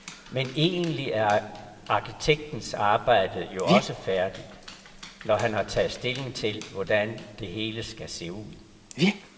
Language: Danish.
Men egentlig er arkitektens arbejde jo også færdigt, når han har taget stilling til, hvordan det hele skal se ud.